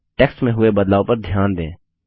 text में हुए बदलाव पर ध्यान दें